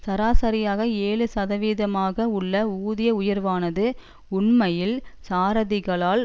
சராசரியாக ஏழு சதவீதமாக உள்ள ஊதிய உயர்வானது உண்மையில் சாரதிகளால்